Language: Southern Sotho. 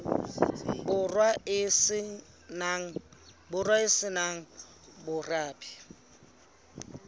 borwa e se nang morabe